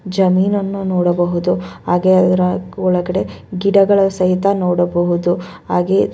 ಜಮೀನನ್ನು ನೋಡಬಹುದು ಅದರ ಒಳಗಡೆ ಗಿಡಗಳನ್ನು ಸಹಿತ ನೋಡಬಹುದು ಹಾಗೇ--